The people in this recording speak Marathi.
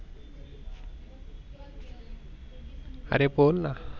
अरे बोल ना